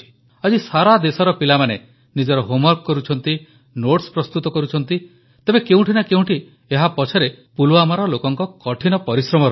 ଆଜି ସାରା ଦେଶର ପିଲାମାନେ ନିଜର ହୋମ୍ ୱର୍କ କରୁଛନ୍ତି ନୋଟ୍ସ ପ୍ରସ୍ତୁତ କରୁଛନ୍ତି ତେବେ କେଉଁଠି ନା କେଉଁଠି ଏହା ପଛରେ ପୁଲୱାମାର ଲୋକଙ୍କ କଠିନ ପରିଶ୍ରମ ରହିଛି